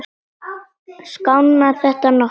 Skánar þetta nokkuð?